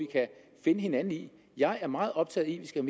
kan finde hinanden jeg er meget optaget